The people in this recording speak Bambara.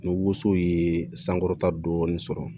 Ni woso ye sankɔrɔta dɔɔni sɔrɔ